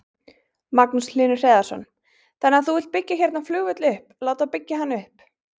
Magnús Hlynur Hreiðarsson: Þannig að þú vilt byggja hérna flugvöll upp, láta byggja hann upp?